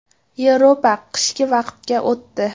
Yevropa qishki vaqtga o‘tdi.